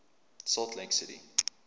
salt lake city